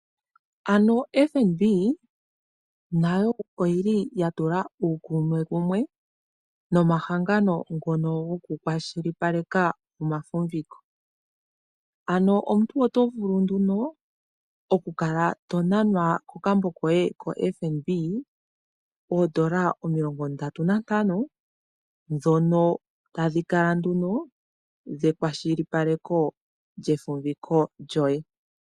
Ombaanga yoFNB nayo oyi li ya tula uukumekumwe nomahangano ngono goku kwashilipaleka omafumviko. Omuntu oto vulu nduno ,oku kala to nanwa kokambo koye kombanga oyo tuu ndjika oodolla omilongo ndatu nantano ndhono tadhi kala nduno dhe kwashilipaleleko lyefumviko lyoye.